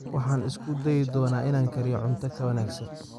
Waxaan isku dayi doonaa inaan kariyo cunto ka wanaagsan